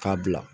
K'a bila